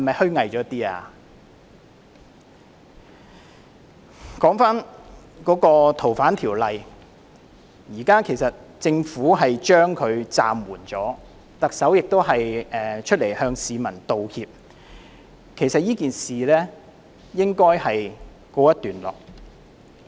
說回《逃犯條例》的修訂，現時政府已經暫緩，特首亦已經出來向市民道歉，這件事應該告一段落。